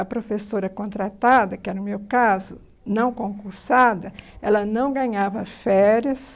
A professora contratada, que era o meu caso, não concursada, ela não ganhava férias.